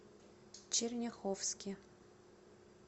черняховске